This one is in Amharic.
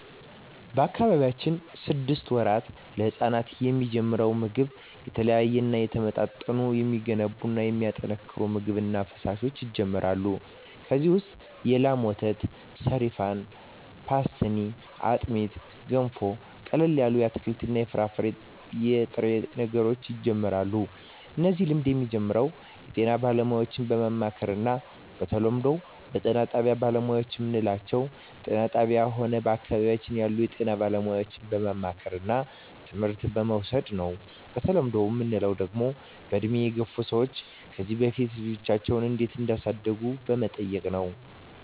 በአካባቢያችን ስድስት ወራት ለህጻናት የሚጀምረው ምግብ የተለያዩ የተመጣጠኑ የሚገነቡ የሚያጠናክሩ ምግብ እና ፈሣሾች ይጀመራሉ ከዚ ውሰጥ የላም ወተት ሰሪፋን ፓሥትኒ አጥሜት ገንፎ ቀለል ያሉ የአትክልት የፍራፍሬ የጥሬ ነገሮች ይጀምራሉ እነዚህ ልምድ የሚጀምረው ጤና ባለሙያዎች በማማከር እና በተለምዶው ነው በጤና ባለሙያዎች ምንለው ጤና ጣብያ ሆነ በአካባቢያችን ያሉ የጤና ባለሙያዎች በማማከርና ትምህርት በመዉሰድ ነው በተለምዶ ምንለው ደግሞ በእድሜ የገፍ ሰዎች ከዚ በፊት ልጃቸው እንዴት እዳሳደጉ በመጠየቅ ነው